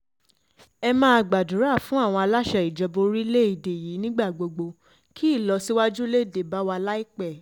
ẹ máa gbàdúrà fún àwọn aláṣẹ ìjọba orílẹ̀‐èdè yìí nígbà gbogbo kí ìlọsíwájú um lè dé bá wa láìpẹ́ um